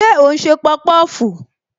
Ṣé o n se popofu?